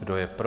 Kdo je pro?